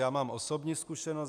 Já mám osobní zkušenost.